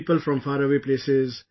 with people from faraway places